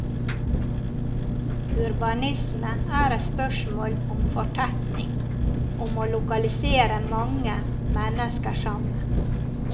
Urbanisme er et spørsmål om fortetning, om å lokalisere mange mennesker sammen.